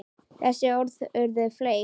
Þessi orð urðu fleyg.